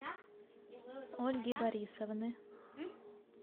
ольги борисовны